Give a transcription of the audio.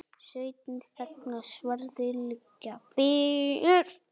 Sveitin þagnar, sverðin liggja ber.